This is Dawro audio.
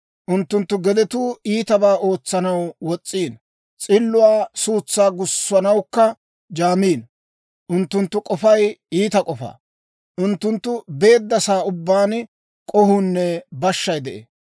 Unttunttu gedetuu iitabaa ootsanaw wos's'iino; s'illuwaa suutsaa gussanawukka jaamiino. Unttunttu k'ofay iita k'ofa. Unttunttu beedda sa'aa ubbaan k'ohuunne bashshay de'ee.